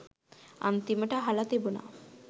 අන්තිමට අහල තිබුන